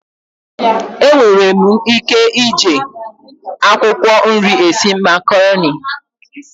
Enwere m ike ije akwụkwọ nri esi makaroni.